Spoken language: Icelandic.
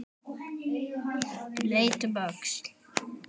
Leit um öxl.